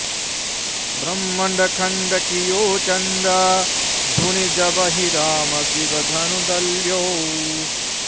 ब्रह्मंड खंड कियो चंड धुनि जबहिं राम सिवधनु दल्यौ